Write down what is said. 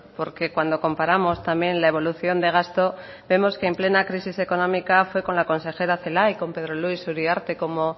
porque cuando comparamos también la evolución de gasto vemos que en plena crisis económica fue con la consejera celaá y con pedro luis uriarte como